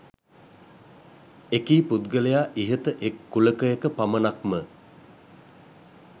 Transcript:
එකී පුද්ගලයා ඉහත එක් කුලකයක පමණක්ම